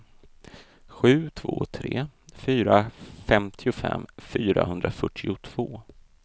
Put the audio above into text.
sju två tre fyra femtiofem fyrahundrafyrtiotvå